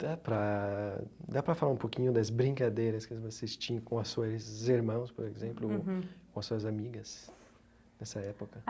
Dá pra dá pra falar um pouquinho das brincadeiras que vocês tinham com as suas irmãs, por exemplo, uhum com as suas amigas dessa época.